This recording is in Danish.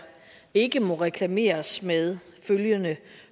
ikke må reklameres med følgende